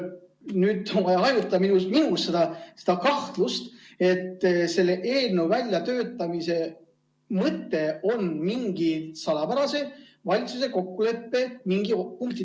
Nüüd on vaja hajutada minu kahtlust, et selle eelnõu väljatöötamise mõte on valitsuse mingi salapärase kokkuleppe mingi punkti täitmine.